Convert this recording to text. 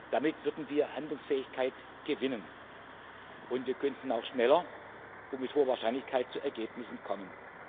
Damit würden wir Handlungsfähigkeit gewinnen, und wir könnten auch schneller und mit hoher Wahrscheinlichkeit zu Ergebnissen kommen.